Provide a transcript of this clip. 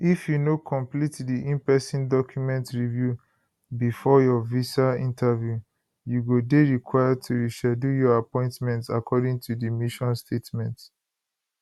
if you no complete di inperson document review bifor your visa interview you go dey required to reschedule your appointment according to di mission statement